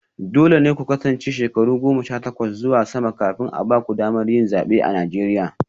Dole ne ku kasance shekaru goma sha takwas zuwa sama kafin a ba ku damar yin zabe a Najeriya